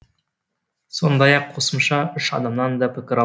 сондай ақ қосымша үш адамнан да пікір